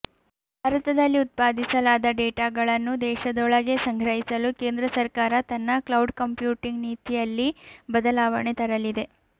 ಭಾರತದಲ್ಲಿ ಉತ್ಪಾದಿಸಲಾದ ಡೇಟಾಗಳನ್ನು ದೇಶದೊಳಗೇ ಸಂಗ್ರಹಿಸಲು ಕೇಂದ್ರ ಸರ್ಕಾರ ತನ್ನ ಕ್ಲೌಡ್ ಕಂಪ್ಯೂಟಿಂಗ್ ನೀತಿಯಲ್ಲಿ ಬದಲವಣೆ ತರಲಿದೆ